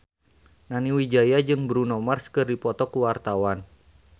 Nani Wijaya jeung Bruno Mars keur dipoto ku wartawan